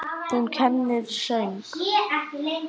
Hún kennir söng.